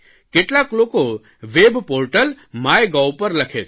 કેટલાક લોકો web portal MyGov પર લખે છે